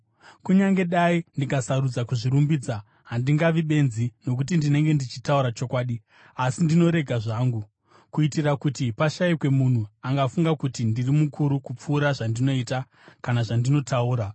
Kunyange dai ndikasarudza kuzvirumbidza, handingavi benzi nokuti ndinenge ndichitaura chokwadi. Asi ndinorega zvangu, kuitira kuti pashayikwe munhu angafunga kuti ndiri mukuru kupfuura zvandinoita kana zvandinotaura.